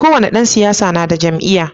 Kowani Dan siyasa nada jam'iya